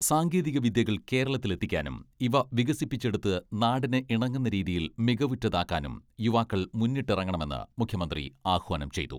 സാങ്കേതികവിദ്യകൾ കേരളത്തിലെത്തിക്കാനും ഇവ വികസിപ്പിച്ചെടുത്ത് നാടിന് ഇണങ്ങുന്ന രീതിയിൽ മികവുറ്റതാക്കാനും യുവാക്കൾ മുന്നിട്ടിറങ്ങണമെന്ന് മുഖ്യമന്ത്രി ആഹ്വാനം ചെയ്തു.